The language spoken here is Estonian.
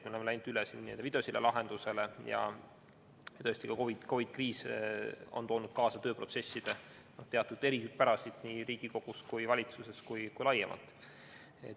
Me oleme läinud üle videosilla lahendusele ja tõesti, COVID-i kriis on toonud kaasa tööprotsesside teatud eripärasid nii Riigikogus ja valitsuses kui ka laiemalt.